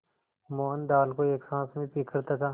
मोहन दाल को एक साँस में पीकर तथा